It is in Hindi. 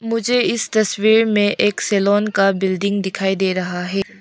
मुझे इस तस्वीर में एक सलोन का बिल्डिंग दिखाई दे रहा है।